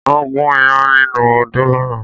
Wọ́n gún ìyán nínú odó lánàá